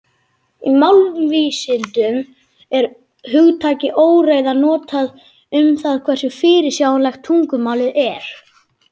Í málvísindum er hugtakið óreiða notað um það hversu fyrirsjáanlegt tungumálið er.